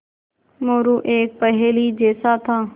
मोरू एक पहेली जैसा था